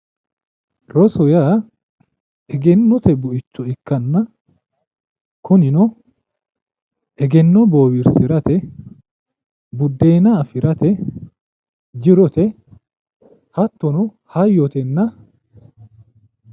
roso yaa egennote buicho ikkanna egenno boowirsirate buddeena afirate jirote hattono hayyotenna